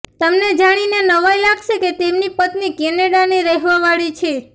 તમને જાણીને નવાઈ લાગશે કે તેમની પત્ની કેનેડાની રહેવા વાળી છે